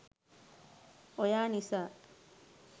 oya nisa